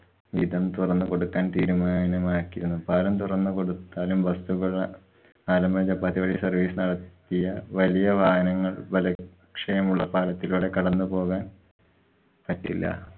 വിധം തൊറന്നു കൊടുക്കാന്‍ തീരുമാനമാക്കിയെന്നും പാലം തുറന്നു കൊടുത്താലും വസ്തു പാലം ഉള്ള അപ്പൊ അതുവഴി service നടത്തിയ വലിയ വാഹനങ്ങള്‍ ബലക്ഷയമുള്ള പാലത്തിലൂടെ കടന്നു പോകാന്‍ പറ്റില്ല.